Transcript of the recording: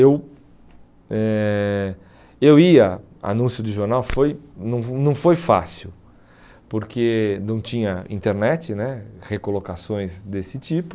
Eu eh eu ia, anúncio de jornal foi não não foi fácil, porque não tinha internet né, recolocações desse tipo.